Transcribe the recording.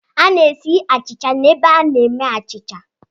A na-esi achịcha n'ebe a na-eme achịcha.